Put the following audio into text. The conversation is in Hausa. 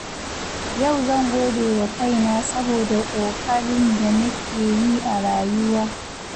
Yau zan gode wa kaina saboda ƙoƙarin da nake yi a rayuwa.